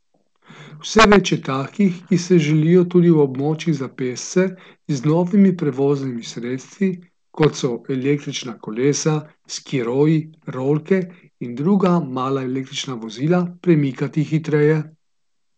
Vse več je takih, ki se želijo tudi v območjih za pešce z novimi prevoznimi sredstvi, kot so električna kolesa, skiroji, rolke in druga mala električna vozila, premikati hitreje.